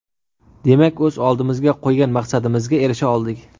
Demak, o‘z oldimizga qo‘ygan maqsadimizga erisha oldik.